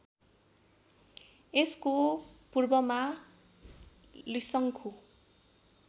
यसको पूर्वमा लिसङ्खु